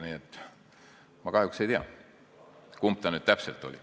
Nii et ma kahjuks ei tea, kumba pidi see nüüd täpselt oli.